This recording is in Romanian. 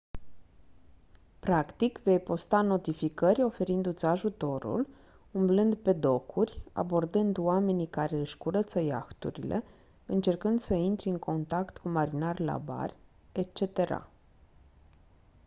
practic vei posta notificări oferindu-ți ajutorul umblând pe docuri abordând oamenii care își curăță iahturile încercând să intri în contact cu marinari la bar etc